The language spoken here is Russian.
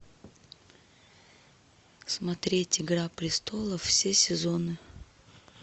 смотреть игра престолов все сезоны